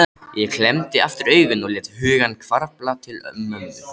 Ég klemmdi aftur augun og lét hugann hvarfla til mömmu.